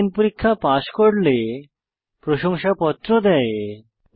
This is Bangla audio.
অনলাইন পরীক্ষা পাস করলে প্রশংসাপত্র দেওয়া হয়